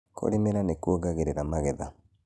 kũrimira nĩ kuongagĩrĩra magetha.